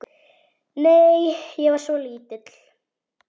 Nei, ég var svo lítil.